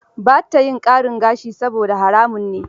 Ba ta yin ƙarin gashi saboda haramun ne.